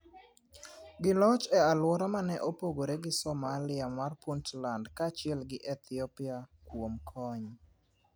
, gi loch e aluora mane opogore gi somalia mar Puntland kaachiel gi Ethiopia kuom kony